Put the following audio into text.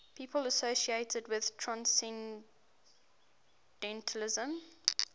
people associated with transcendentalism